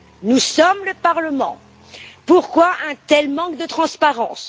Nous sommes le Parlement. Pourquoi un tel manque de transparence?